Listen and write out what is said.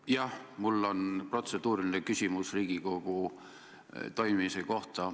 Jah, mul on protseduuriline küsimus Riigikogu toimimise kohta.